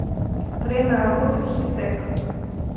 время работы хитэк